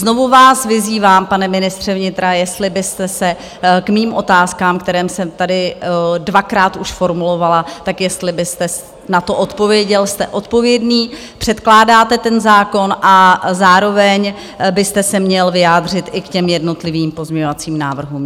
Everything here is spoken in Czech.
Znovu vás vyzývám, pane ministře vnitra, jestli byste se k mým otázkám, které jsem tady dvakrát už formulovala, tak jestli byste na to odpověděl, jste odpovědný, předkládáte ten zákon, a zároveň byste se měl vyjádřit i k těm jednotlivým pozměňovacím návrhům.